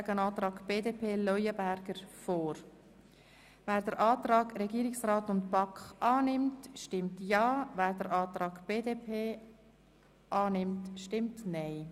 Wer den Antrag Regierungsrat und BaK annimmt, stimmt Ja, wer den Antrag BDP annimmt, stimmt Nein.